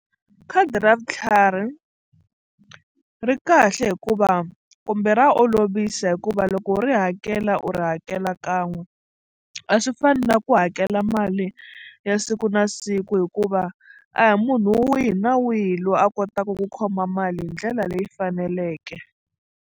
Khadi ra vutlhari ri kahle hikuva kumbe ra olovisa hikuva loko u ri hakela u ri hakela kan'we a swi fani na ku hakela mali ya siku na siku hikuva a hi munhu wihi na wihi loyi a kotaka ku khoma mali hi ndlela leyi faneleke.